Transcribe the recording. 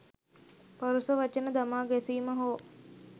පරුෂ වචන දමා ගැසීම හෝ